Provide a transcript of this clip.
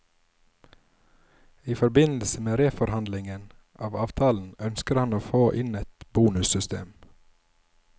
I forbindelse med reforhandlingen av avtalen ønsker han å få inn et bonussystem.